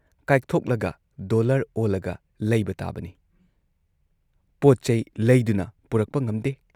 ꯀꯥꯏꯊꯣꯛꯂꯒ dollar ꯑꯣꯜꯂꯒ ꯂꯩꯕ ꯇꯥꯕꯅꯤ ꯄꯣꯠꯆꯩ ꯂꯩꯗꯨꯅ ꯄꯨꯔꯛꯄ ꯉꯝꯗꯦ ꯫